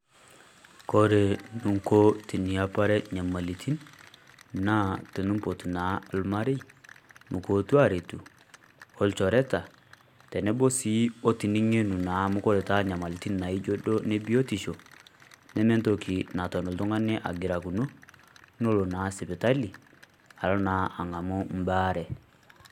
Kore ninko tiniapare inyamalitin naa tiniimpoot naa ilmarie mukuotu aretuu o ilchoereta tenebo sii o tining'enu naa amu kore taa enyamalitin naa ejo doo ne biotisho nemee ntoki natoon iltung'ani ang'irakino lonoo na sipitali aloo naa ang'amu baare.